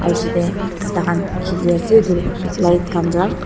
aru pichete taikhan khili ase etu light khan para.